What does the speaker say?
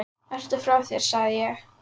Ertu frá þér sagði ég.